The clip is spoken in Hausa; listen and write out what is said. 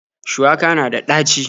Shuwaka na da ɗaci.